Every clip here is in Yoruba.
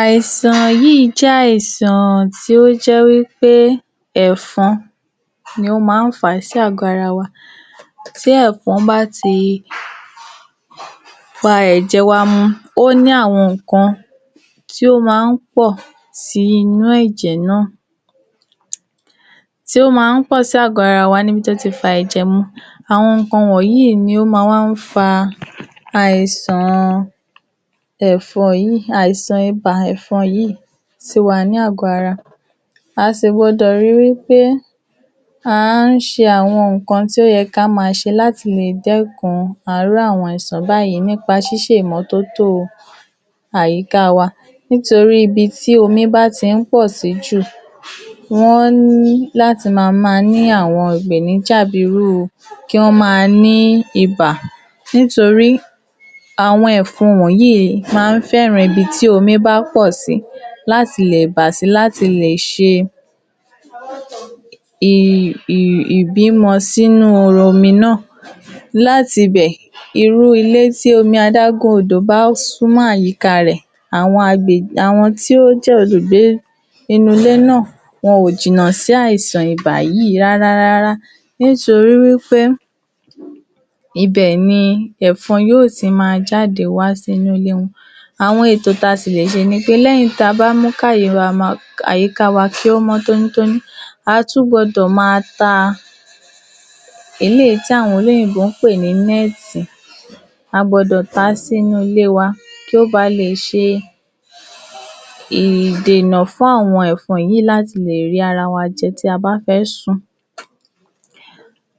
Àìsàn yìí jé̩ àìsàn tí ó jé̩ wípé è̩fo̩n ni ó máa ń fà á sí àgó̩ ara wa. Tí è̩fo̩n bá ti fa è̩jè wa mu, ó ní àwo̩n ǹkan tí ó máa ń pò̩ sí inú è̩jè̩ náà tí ó máa ń pò̩ sí àgó̩ ara wa níbi tó ti fa è̩jè̩ mu. Àwo̩n ǹkan wò̩nyí ni ó ma wá fa àìsàn è̩fo̩n yìí, àìsàn ibà è̩fo̩n yìí sí wa ní àgọ́ ara A sì gbo̩dò ri wípé à ń s̩e àwo̩n ǹkan tó ye̩ ká máa s̩e láti lè dékun àwo̩n irú àìsàn báyìí nípa s̩ís̩e ìmó̩tótó àyíká wa. Nítorí ibi tí omi bá ti ń pò sí jù wó̩n ní láti máa máa ní àwo̩n ìpèníjà bí irúu kí wó̩n máa ní ibà nítorí àwo̩n è̩fo̩n yìí máa ń fé̩ràn ibi tí omi bá pò̩ sí láti lè bà sí, láti lè s̩e ì-ì-ìbímo̩ sínú omi náà. Láti bè̩, irú ilé tí adágún odò bá súnmó̩ àyíká rè̩, àwo̩n agbè- àwo̩n tí ó jé̩ olùgbé inú ilé náà wo̩n ò jìnnà sí àìsàn ibà yìí rárárá. Nítorí wípé, ibè̩ ni è̩fo̩n yóò ti máa jáde wá sí inú ilé wo̩n. Àwo̩n ètò tí a tì lè s̩e ni pé lé̩yìn ta bá mú ká àyíká wa kí ó mó̩ tónítóní, a tún gbo̩dò máa ta eléyìí tí àwo̩n òyìnbó máa ń pè ní né̩è̩tì A gbo̩dò ta á sí inú ilé wa kó ba lè s̩e ìdènà fún àwo̩n è̩fo̩n yí láti lè rí ara wa je̩ tí a bá fé̩ sùn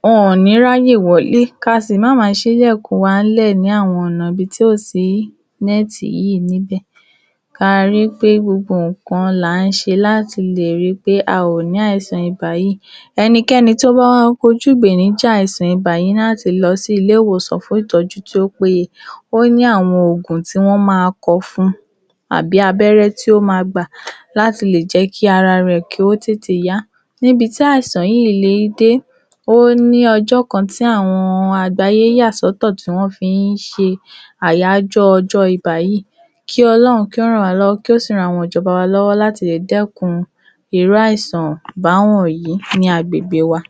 Wo̩n ò ní ráyè wo̩lé, ka sì má máa s̩í’lè̩kùn wa ń lè̩ ní àwo̩n ò̩nà ibi tí ò sí né̩é̩ti yí níbè̩. A rí pé gbogbo ǹkan là ń s̩e láti lè ri pé a à ní àìsàn ibà yìí. Enikén̩I tó bá wá kojú ìpèníjà àìsàn ibà yí ní láti lo̩ sí ilé-ìwòsàn fún ìtó̩jú tí ó péye Ó ní àwo̩n òògùn tí wó̩n máa ko̩ fun tàbí abé̩ré̩ tí ó máa gbà láti lè jé kí ara rè̩ kí ó tètè yá. Níbi tí àìsàn le dé, ó ní o̩jó̩ kan tí àwo̩n àgbáyé yà so̩tò̩ tí wó̩n fi ń s̩e àyájó̩ o̩jó̩ ibà yí. Kí O̩ló̩run kí ó ràn wá ló̩wó̩ kí ó sì ran àwo̩n ìjo̩ba wa ló̩wó̩ láti lè dé̩kun irú àìsàn bá wò̩nyí ní agbègbè wa.